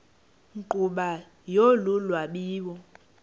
nkqubo yolu lwabiwo